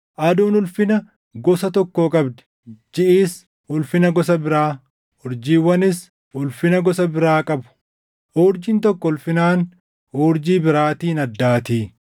Aduun ulfina gosa tokkoo qabdi; jiʼis ulfina gosa biraa, urjiiwwanis ulfina gosa biraa qabu; urjiin tokko ulfinaan urjii biraatiin addaatii.